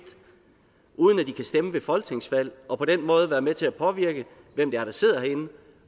uden at de kan stemme ved folketingsvalg og på den måde være med til at påvirke hvem det er der sidder herinde